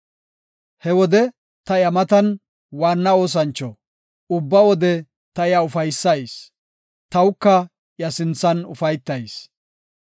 He wode ta iya matan waanna oosancho; ubba wode ta iya ufaysayis; tawuka iya sinthan ufaytayis.